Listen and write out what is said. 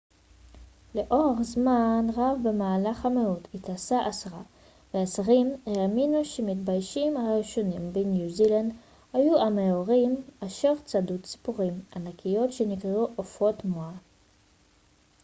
לאורך זמן רב במהלך המאות התשע-עשרה והעשרים האמינו שהמתיישבים הראשונים בניו זילנד היו המאורים אשר צדו ציפורים ענקיות שנקראו עופות מואה